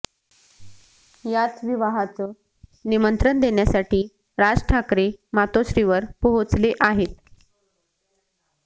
याच विवाहाचं निमंत्रण देण्यासाठी राज ठाकरे मातोश्रीवर पोहोचले आहेत